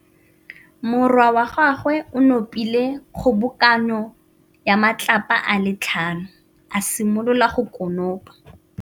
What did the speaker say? Morwa wa gagwe o nopile kgobokanô ya matlapa a le tlhano, a simolola go konopa.